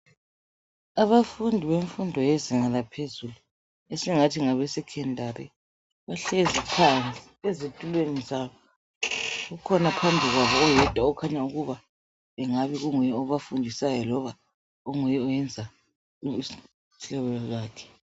Abafundi bemfundo yezinga laphezulu esingathi ngabeSecondary bahlezi phandle ezitulweni zabo. Ukhona phambili kwabo oyedwa okungabe kunguye obafundisayo loba onguye oyenza uhlelo lwakhe.